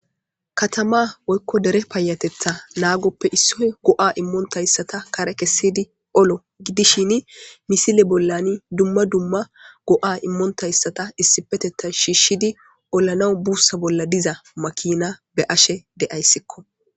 katama woykko dere payatetha naagoppe issoy go7a immoontayssata kare kessidi olo gidishin misile bollani dumma dumma go7a immontayssata issipeteta shiishshidi ollanawu buussa bolla diza makina be ashe de7ayssikko